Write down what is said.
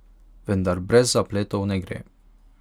Vendar brez zapletov ne gre.